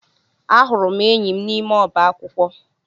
Ahụrụ m enyi m n'ime ọba akwụkwọ